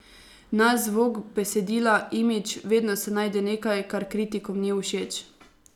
Naš zvok, besedila, imidž, vedno se najde nekaj, kar kritikom ni všeč.